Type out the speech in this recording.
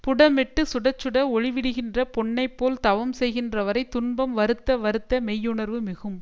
புடமிட்டு சுட சுட ஒளிவிடுகின்ற பொன்னை போல் தவம் செய்கின்றவரை துன்பம் வருத்த வருத்த மெய்யுணர்வு மிகும்